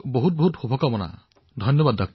অনেক শুভকামনা থাকিল আপোনালৈ ধন্যবাদ